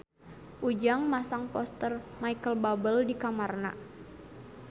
Ujang masang poster Micheal Bubble di kamarna